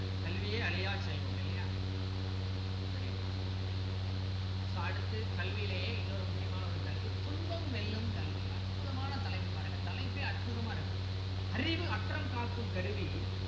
கல்வியே அழியா செல்வம் இல்லலையா very good so அடுத்து கல்விலேயே இன்னொரு முக்கியமான ஒரு கல்வி துன்பம் வெல்லும் கல்வி அற்புதமான தலைப்பு பாருங்க தலைப்பே அற்புதமா இருக்கு அறிவு அற்றம் காக்கும் கருவி